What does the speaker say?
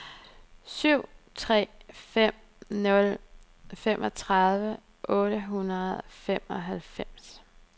syv tre fem nul fireogtredive otte hundrede og femoghalvfems